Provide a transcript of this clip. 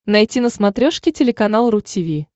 найти на смотрешке телеканал ру ти ви